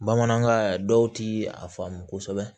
Bamanankan dɔw ti a faamu kosɛbɛ